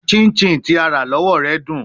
Chinchin ti a ra lọwọ rẹ dun